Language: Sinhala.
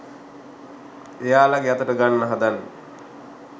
එයාලගෙ අතට ගන්න හදන්නේ